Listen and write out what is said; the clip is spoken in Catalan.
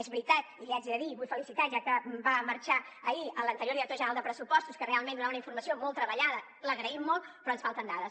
és veritat i l’hi haig de dir i el vull felicitar ja que va marxar ahir l’anterior director general de pressupostos que realment donava una informació molt treballada l’agraïm molt però ens falten dades